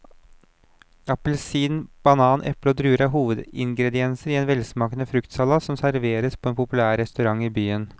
Appelsin, banan, eple og druer er hovedingredienser i en velsmakende fruktsalat som serveres på en populær restaurant i byen.